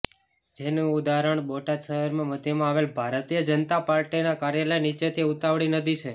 જેનું ઉદાહરણ બોટાદ શહેરમાં મધ્યમાં આવેલ ભારતીય જનતા પાર્ટીના કાર્યાલય નીચેથી ઉતાવળી નદી છે